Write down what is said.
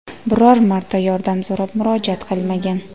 biror marta yordam so‘rab murojaat qilmagan.